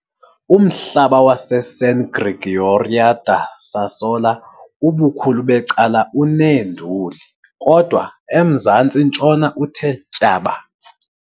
Umhlaba waseSan Gregorio da Sassola ubukhulu becala uneenduli, kodwa emzantsi-ntshona uthe tyaba.